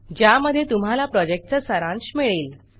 ज्यामध्ये तुम्हाला प्रॉजेक्टचा सारांश मिळेल